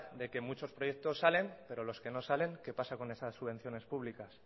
de que muchos proyectos salen pero con los que no salen qué pasa con esas subvenciones públicas